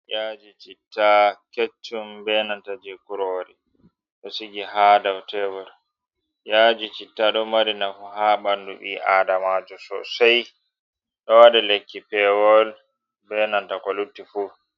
Yaaji ,citta keccum ,benanta je kurori ɗo sigi haa dow tebur. Yaaji citta ɗo mari nafu haa ɓanndu ɓi-aadamajo sosay. Ɗo waɗe lekki peewol benanta ko lutti fu.